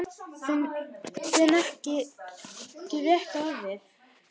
Finn ekki rétta orðið.